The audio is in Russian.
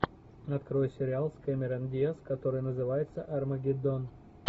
открой сериал с кэмерон диаз который называется армагеддон